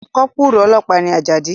Kọ́pùrù ọlọ́pàá ni Àjàdí